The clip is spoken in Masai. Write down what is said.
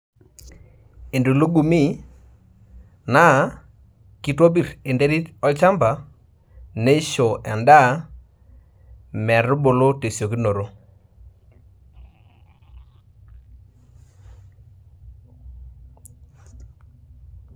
Entulugumi naa kitopir enterit olchamba ,neisho endaa metubulu tesiokinoto.